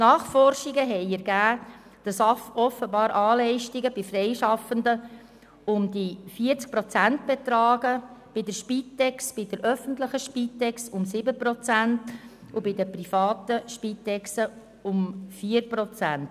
Nachforschungen haben ergeben, dass offenbar A-Leistungen bei Freischaffenden rund 40 Prozent betragen, bei der öffentlichen Spitex rund 7 Prozent und bei den privaten Spitex-Organisationen rund 4 Prozent.